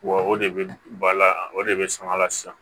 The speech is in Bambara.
Wa o de bɛ ba la o de bɛ sɔn a la sisan